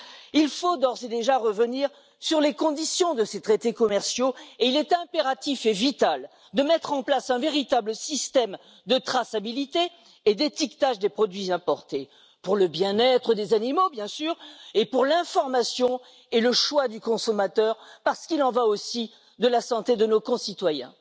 Il faut d'ores et déjà revenir sur les conditions de ces traités commerciaux, et il est impératif et vital de mettre en place un véritable système de traçabilité et d'étiquetage des produits importés pour le bien être des animaux, bien sûr, et pour l'information et le choix du consommateur parce qu'il en va aussi de la santé de nos concitoyens.